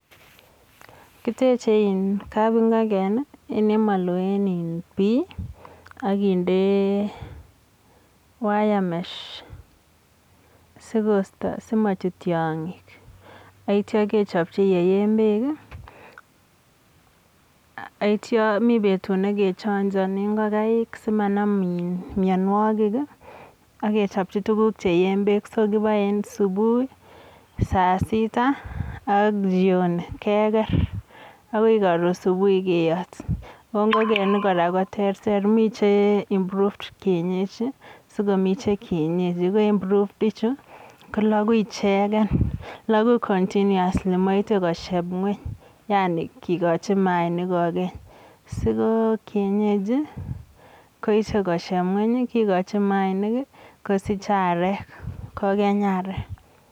Kiteche kabing'oken en olemolo en iin bii ak kinde wire mesh sikosto simochut tiong'ik ak kityo kechepchi yeyeen beek akitio mii betut nekechonjoni ing'okaik simanam mionwokik ak kechopchi tukuk cheyeen beek, so kiboe en subui, sasita ak jioni keker akoi koron subui keyot, oo ng'okenik kora ko tereter, mii che improved kienyechi sikomii che kienyenchi ko improved ichuu ko lokuu icheken lokuu continously moite kosieb ngweny yani kikochi mainik kokeny, so ko kienyechi koyesho kosheb ngweny kikochi mainik kosich areek kokeny areek.